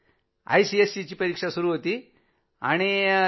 आयसीएसईची परिक्षा सुरू होती नं तेव्हा